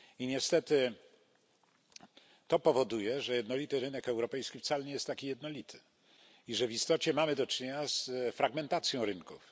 Niestety to powoduje, że jednolity rynek europejski wcale nie jest taki jednolity i że w istocie mamy do czynienia z fragmentacją rynków.